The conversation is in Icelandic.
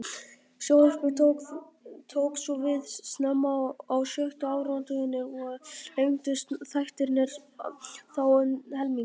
Sjónvarpið tók svo við snemma á sjötta áratugnum og lengdust þættirnir þá um helming.